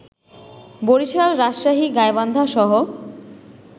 বরিশাল, রাজশাহী, গাইবান্ধা সহ